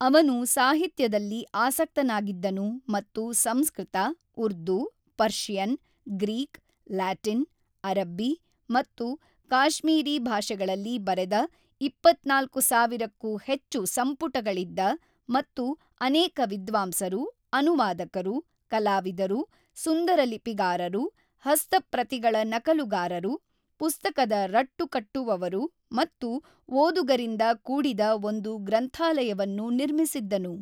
ಅವನು ಸಾಹಿತ್ಯದಲ್ಲಿ ಆಸಕ್ತನಾಗಿದ್ದನು ಮತ್ತು Sanskrit, Urdu, Persian, Greek, Latin, ಅರಬ್ಬಿ ಮತ್ತು ಕಾಶ್ಮೀರಿ ಭಾಷೆಗಳಲ್ಲಿ ಬರೆದ ೨೪,೦೦೦ ಕ್ಕೂ ಹೆಚ್ಚು ಸಂಪುಟಗಳಿದ್ದ ಮತ್ತು ಅನೇಕ ವಿದ್ವಾಂಸರು, ಅನುವಾದಕರು, ಕಲಾವಿದರು, ಸುಂದರಲಿಪಿಗಾರರು, ಹಸ್ತಪ್ರತಿಗಳ ನಕಲುಗಾರರು, ಪುಸ್ತಕದ ರಟ್ಟು ಕಟ್ಟುವವರು ಮತ್ತು ಓದುಗರಿಂದ ಕೂಡಿದ ಒಂದು ಗ್ರಂಥಾಲಯವನ್ನು ನಿರ್ಮಿಸಿದ್ದನು.